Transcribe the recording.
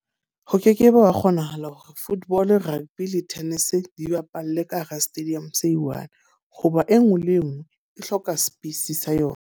Ha ke ke be wa kgonahala hore football, rugby le tennis di bapalle ka hara stadium se e one. Ho ba e nngwe le e nngwe e hloka space sa yona.